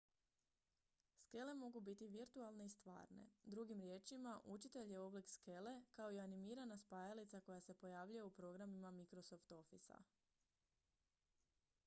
skele mogu biti virtualne i stvarne drugim riječima učitelj je oblik skele kao i animirana spajalica koja se pojavljuje u programima microsoft officea